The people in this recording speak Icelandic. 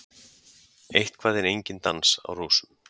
Eitthvað er enginn dans á rósum